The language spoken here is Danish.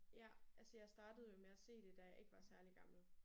Ja. Altså jeg startede jo med at se det da jeg ikke var særlig gammel